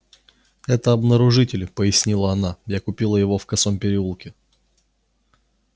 это обнаружитель пояснила она я купила его в косом переулке